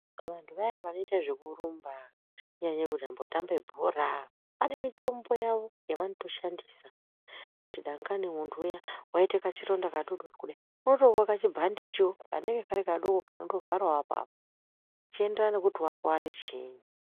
Vanthu vayanai vanoita zvekurumba kunyanya vanotambe bhora vane mitombo yavo yavanotoshandisa kuti dangani munthu uya waite kachironda kadodori kudai unondopiwa kabhandichio kanenge kari kadoko kanondovharao apapo zvechienderana nekuti wakuware chiini.